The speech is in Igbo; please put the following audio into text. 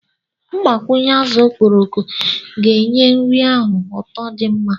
mgbakwunye azụ okporoko ga-enye nri ahụ ụtọ di mma